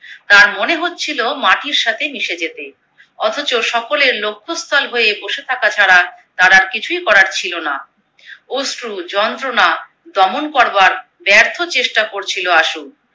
তার মনে হচ্ছিলো মাটির সাথে মিশে যেতে, অথচো সকলের লক্ষ্য স্থল হয়ে বসে থাকা ছাড়া তার আর কিছুই করার ছিলো না। অশ্রু, যন্ত্রনা দমন করবার ব্যর্থ চেষ্টা করছিলো আশু।